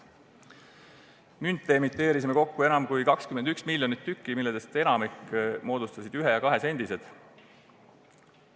Münte emiteerisime kokku enam kui 21 miljonit tükki, millest enamiku moodustasid ühe- ja kahesendised.